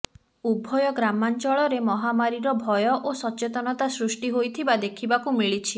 ଉଭୟ ଗ୍ରାମାଂଚଳରେ ମହାମାରୀର ଭୟ ଓ ସଚେତନତା ସୃଷ୍ଟି ହୋଇଥିବା ଦେଖିବାକୁ ମିଳିଛି